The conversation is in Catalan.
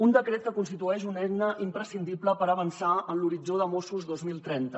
un decret que constitueix una eina imprescindible per avançar en l’horitzó mossos dos mil trenta